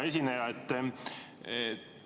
Hea esineja!